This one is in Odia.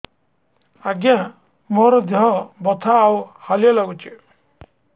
ଆଜ୍ଞା ମୋର ଦେହ ବଥା ଆଉ ହାଲିଆ ଲାଗୁଚି